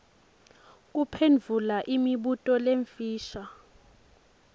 kuphendvula imibuto lemifisha